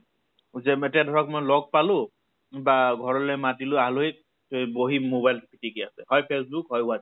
যে এতিয়া ধৰক মই লগ পালো, বা ঘৰলৈ মাতিলো আলহীক তে বহি mobile পিতিকি আছে। হয় ফেচবূক, হয় WhatsApp